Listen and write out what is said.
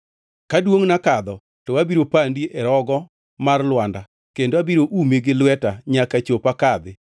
Ka duongʼna kadho to abiro pandi e rogo mar lwanda kendo abiro umi gi lweta nyaka chop akadhi.